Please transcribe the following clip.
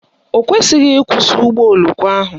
O kweghị ịkwụsị ụgbọoloko ahụ